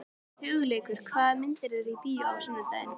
Hugleikur, hvaða myndir eru í bíó á sunnudaginn?